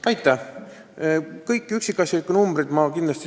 Ma kindlasti saadan teile kõik üksikasjalikud numbrid.